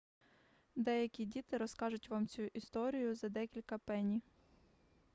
деякі діти розкажуть вам цю історію за декілька пенні